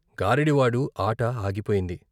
గారడీ వాడు ఆట ఆగిపోయింది.